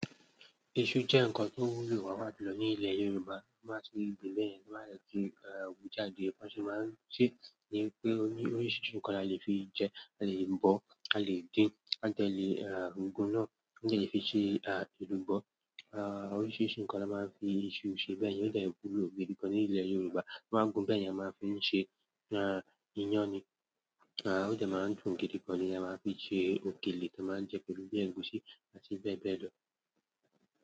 Iṣu jẹ́ ǹkan tó wúlò pàápàá jùlọ ní ilẹ̀ Yorùbá, tí wọn bá tilẹ̀ gbìn bẹ́yẹn, tí wọn bá dèti wújáde, bí wọn ṣe ma ń ṣé ni wípé oríṣiríṣi ǹkan la lè fi jẹ, a lè bọ̀, a lè dín, a dè lè gùn náà, wọn dè lè fi ṣe ẹ̀lùbọ́. Oríṣiríṣi ǹkan ni a máa ń fi iṣu ṣe, bẹ́ẹ̀ ni ó dè wúlò gidigan ní ilẹ̀ Yorùbá. Wọ́n máa ń gùn, bẹ́yẹn a máa ń fi ṣe iyán ni, ó dè máa ń dùn gidigan ni èèyàn máa ń fi ṣe òkèlè èèyàn máa ń jẹ pẹ̀lú bí i ẹ̀gúsí àti bẹ́ẹ̀ bẹ́ẹ̀ lọ.